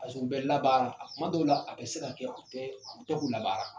a bɛ labaara a kuma dɔw la a bɛ se ka u tɛ u tɛ k'u ladon.